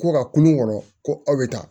Ko ka kulon kɔrɔ ko aw bɛ taa